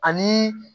Ani